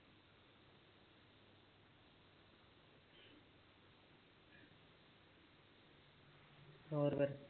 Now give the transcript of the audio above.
ਹੋਰ ਫਿਰ